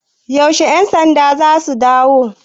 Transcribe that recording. Yaushe 'yansandan za su dawo?